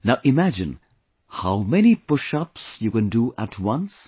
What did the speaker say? Now imagine how many pushups you can do at once